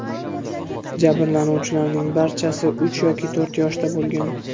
Jabrlanuvchilarning barchasi uch yoki to‘rt yoshda bo‘lgan.